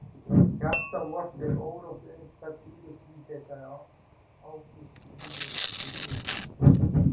Hjarta vort er órótt uns það hvílist í þér sagði Ágústínus við Guð sinn.